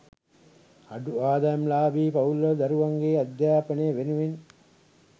අඩු ආදායම්ලාභී පවුල්වල දරුවන්ගේ අධ්‍යාපනය වෙනුවෙන්